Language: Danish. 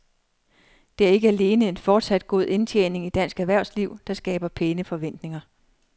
Det er ikke alene en fortsat god indtjening i dansk erhvervsliv, der skaber pæne forventninger.